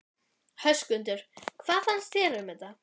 Höskuldur: Hvað fannst þér um þetta?